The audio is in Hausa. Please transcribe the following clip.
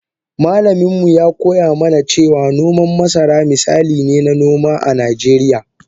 Malamin mu ya koya mana cewa noman masara misali ne na noman noma a Nijeriya.